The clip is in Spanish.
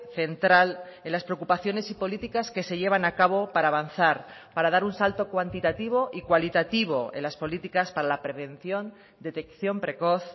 central en las preocupaciones y políticas que se llevan a cabo para avanzar para dar un salto cuantitativo y cualitativo en las políticas para la prevención detección precoz